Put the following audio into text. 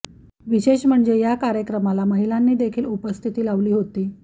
विशेष म्हणजे या कार्यक्रमाला महिलांनी देखील उपस्थिती लावली होती